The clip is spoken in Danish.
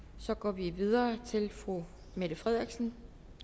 så går vi videre til fru mette frederiksen